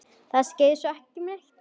Það skeði sosum ekki neitt.